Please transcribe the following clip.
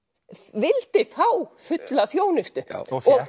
vildi fá fulla þjónustu